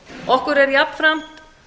okkur er jafnframt